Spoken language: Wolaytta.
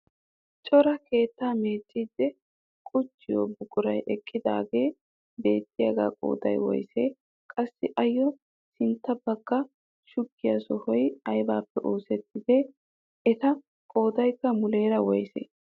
Cora keettaa meecidi qucciyoo buquray eqqidagee beettiyaagaa qooday woyssee? Qassi ayo sintta bagga shuggiyaa sohoy aybappe oosettidee? Eta qoodaykka muleera woysee?